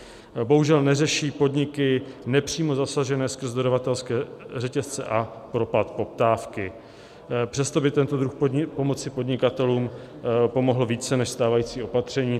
Bohužel neřeší podniky nepřímo zasažené skrz dodavatelské řetězce a propad poptávky, přesto by tento druh pomoci podnikatelům pomohl více než stávající opatření.